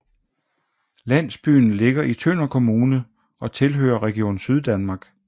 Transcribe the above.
Landsbyen ligger i Tønder Kommune og tilhører Region Syddanmark